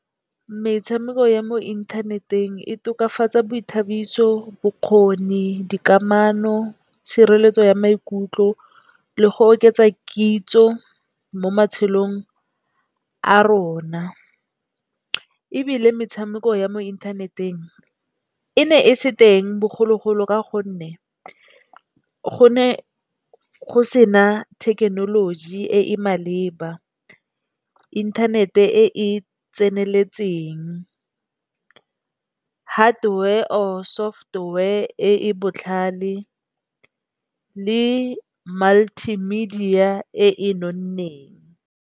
Metshameko ya mo inthaneteng e tokafatsa boithabiso, bokgoni, dikamano tshireletso ya maikutlo le go oketsa kitso mo matshelong a rona. Ebile metshameko ya mo inthaneteng e ne e se teng bogologolo ka gonne go ne go sena thekenoloji e e maleba, inthanete e e tseneletseng. Hardware or software e e botlhale le multimedia e e nonneng.